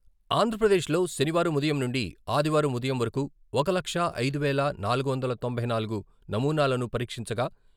ఆంధ్రప్రదేశ్ లో శనివారం ఉదయం నుండి ఆదివారం ఉదయం వరకు ఒక లక్షా ఐదు వేల నాలుగు వందల తొంభై నాలుగు నమూనాలను పరీక్షించగా....